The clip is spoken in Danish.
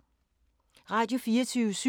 Radio24syv